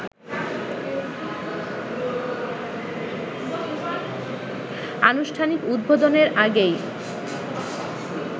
আনুষ্ঠানিক উদ্বোধনের আগেই